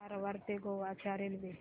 कारवार ते गोवा च्या रेल्वे